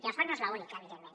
i el soc no és l’única evidentment